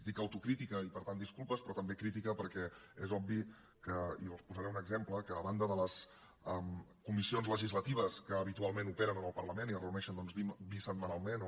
dic autocrítica i per tant disculpes però també crítica perquè és obvi i els en posaré un exemple que a banda de les comissions legislatives que habitualment operen al parlament i es reuneixen bisetmanalment o